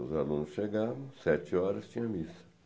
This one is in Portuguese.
Os alunos chegavam, sete horas, tinha missa.